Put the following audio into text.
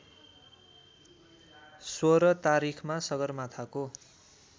१६ तारिखमा सगरमाथाको